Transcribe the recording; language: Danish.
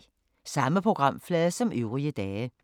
Samme programflade som øvrige dage